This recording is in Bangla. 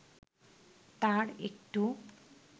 তার একটু